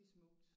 Smukt